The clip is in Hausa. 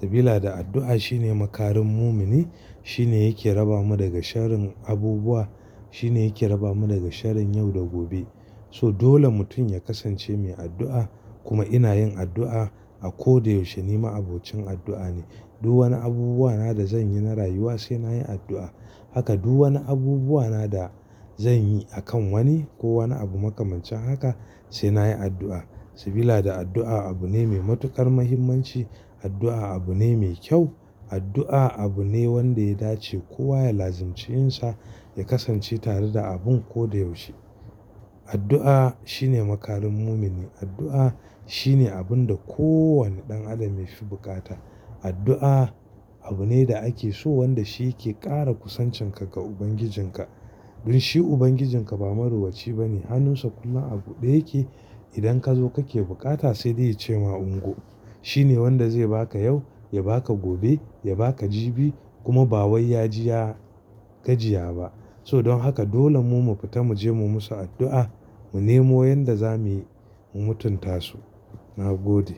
Sabila da addu'a shine makarin mumini, shine yake raba mu daga sharin abubuwa, shine yake raba mu daga sharin yau da gobe. So dole mutum ya kasance mai addu'a. Kuma ina yin addu'a a ko da yaushe. Ni ma'abocin addu'a ne. Duk wani abubuwa na da zanyi na rayuwa sai nayi addu'a. Haka duk wani abubuwa na da zanyi akan wani ko wani abu makamancin haka sai nayi addu'a. Sabila da addu'a abu ne mai matuƙar muhimmanci. Addu'a abu ne mai kyau, addu'a abu ne wanda ya dace kowa ya lazimci yinsa ya kasance tare da abun ko da yaushe. Addu'a shine makarin mumini. Addu'a shine abun da ko wane ɗan adam yafi bukata. Addu'a abu ne da ake so wanda shi yake ƙara kusancin ka ga ubangijinka. Don shi ubangijinka ba marowaci bane, hannunsa kullum a buɗe yake. Idan kazo kake buƙata sai dai ya ce ma ungo. Shine wanda zai baka yau ya baka gobe ya baka jibi kuma ba waya ji ya gajiya ba. So don haka dole mu fita muje mu musu addu'a, mu nemo yanda zamuyi mu mutunta su. Na gode.